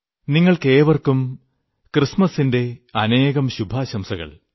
നിങ്ങൾക്കേവർക്കും ക്രിസ്മസ്സിന്റെ അനേകം ശുഭാശംസകൾ